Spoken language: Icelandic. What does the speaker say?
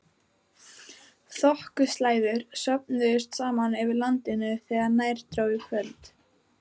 Þokuslæður söfnuðust saman yfir landinu þegar nær dró kvöldi.